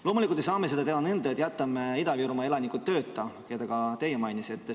Loomulikult ei saa me seda teha nõnda, et jätame Ida-Virumaa elanikud tööta, nii nagu ka teie mainisite.